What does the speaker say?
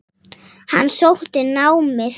Hann sótti námið.